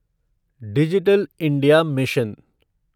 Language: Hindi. digital India mission